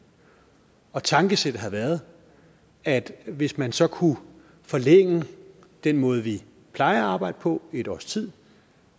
tankesættet har været at hvis man så kunne forlænge den måde vi plejer at arbejde på et års tid